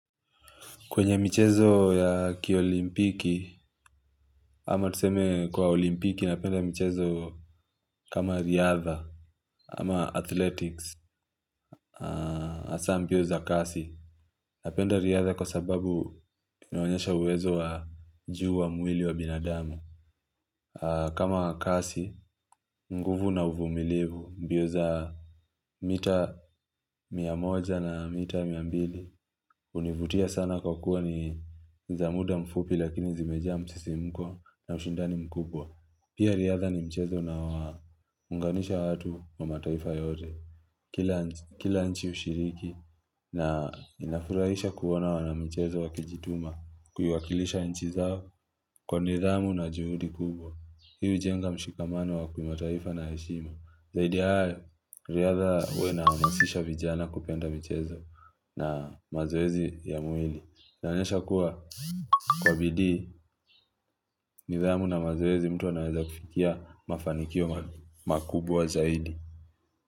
Kwenye michezo ya kiolympiki, ama tuseme kwa olympiki napenda michezo kama riadha, ama athletics, hasa mbio za kasi. Napenda riadha kwa sababu inoanyesha uwezo wa juu wa mwili wa binadamu. Kama kasi, nguvu na uvumilivu, mbio za mita mia moja na mita mia mbili. Hunivutia sana kwa kuwa niza muda mfupi lakini zimejaa msisimko na ushindani mkubwa Pia riadha ni mchezo unao unganisha watu wa mataifa yote kila Kila nchi hushiriki na inafurahisha kuona wana mchezo wa kijituma Kuiwakilisha nchi zao kwa nidhamu na juhudi kubwa Hii jenga mshikamano wa ki mataifa na heshima Zaidi ya haya riadha inawahasisha vijana kupenda mchezo na mazoezi ya mwili inaonyesha kuwa Kwa bidii nidhamu na mazoezi mtu anaweza kufikia Mafanikio makubwa zaidi.